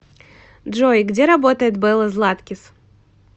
джой где работает белла златкис